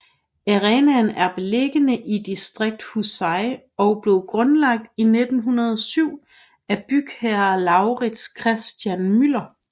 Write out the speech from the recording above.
Arenaen er beliggende i distriktet Husie og blev grundlagt i 1907 af bygherre Lauritz Christian Müller